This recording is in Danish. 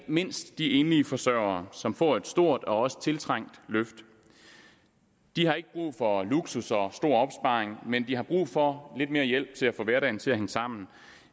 mindst de enlige forsørgere som får et stort og også tiltrængt løft de har ikke brug for luksus og stor opsparing men de har brug for lidt mere hjælp til at få hverdagen til at hænge sammen